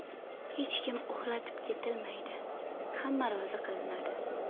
Hech kim ‘uxlatib’ ketilmaydi, hamma rozi qilinadi.